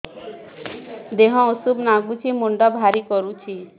ଦିହ ଉଷୁମ ନାଗୁଚି ମୁଣ୍ଡ ଭାରି କରୁଚି